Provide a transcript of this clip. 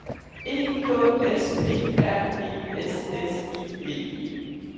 E K S P R E S S I V E